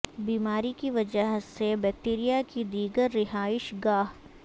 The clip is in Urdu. بیماری کی وجہ سے بیکٹیریا کی دیگر رہائش گاہ